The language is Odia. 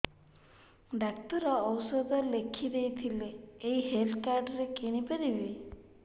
ଡକ୍ଟର ଔଷଧ ଲେଖିଦେଇଥିଲେ ଏଇ ହେଲ୍ଥ କାର୍ଡ ରେ କିଣିପାରିବି